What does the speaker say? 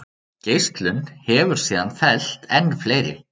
Geislun hefur síðan fellt enn fleiri.